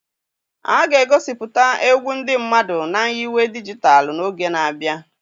A ga-egosipụta egwu ndị mmadụ na nyiwe dijitalụ n'oge na-abịa.